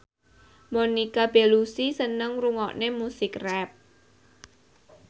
Monica Belluci seneng ngrungokne musik rap